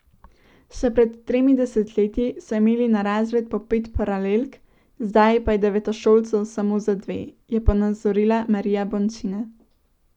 Še pred tremi desetletji so imeli na razred po pet paralelk, zdaj pa je devetošolcev samo za dve, je ponazorila Marija Bončina.